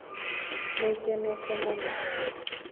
"Nĩngenĩte mũno.